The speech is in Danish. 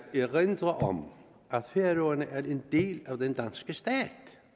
erindre om at færøerne er en del af den danske stat